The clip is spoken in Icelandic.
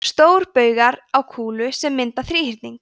stórbaugar á kúlu sem mynda þríhyrning